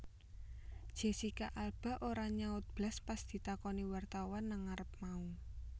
Jessica Alba ora nyaut blas pas ditakoni wartawan nang ngarep mau